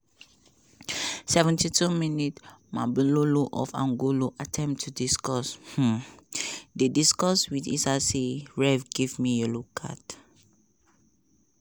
seventy two minutes mabululu of angolo attempt to discuss um dey discuss wit issa say ref give me yellow card.